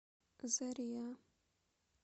зариа